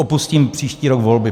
Opustím příští rok volby.